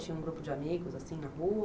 Tinha um grupo de amigos assim na rua?